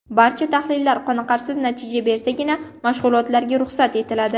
Barcha tahlillar qoniqarsiz natija bersagina mashg‘ulotlarga ruxsat etiladi.